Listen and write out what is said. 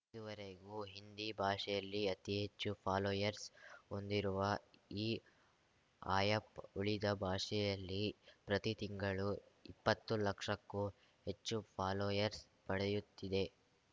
ಇದುವರೆಗೂ ಹಿಂದಿ ಭಾಷೆಯಲ್ಲಿ ಅತಿ ಹೆಚ್ಚು ಫಾಲೋಯರ್ಸ್ ಹೊಂದಿರುವ ಈ ಆಯಪ್‌ ಉಳಿದ ಭಾಷೆಯಲ್ಲಿ ಪ್ರತಿ ತಿಂಗಳು ಇಪ್ಪತ್ತು ಲಕ್ಷಕ್ಕೂ ಹೆಚ್ಚು ಫಾಲೋಯರ್ಸ ಪಡೆಯುತ್ತಿದೆ